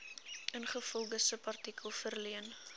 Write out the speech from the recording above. ingevolge subartikel verleen